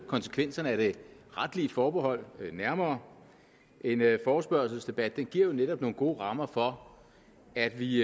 konsekvenserne af det retlige forbehold nærmere en forespørgselsdebat giver jo netop nogle gode rammer for at vi